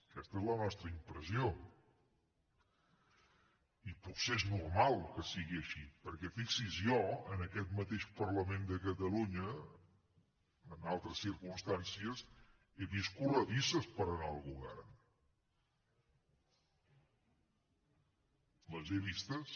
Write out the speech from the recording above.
aquesta és la nostra impressió i potser és normal que sigui així perquè fixi s’hi jo en aquest mateix parlament de catalunya en altres circumstàncies he vist corredisses per anar al govern les he vistes